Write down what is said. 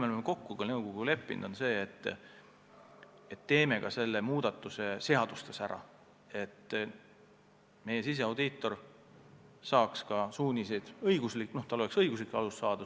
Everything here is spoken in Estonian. Oleme nõukoguga kokku leppinud, et teeme selle muudatuse ka seaduses ära, et meie siseaudiitor võib nõukogult suuniseid saada.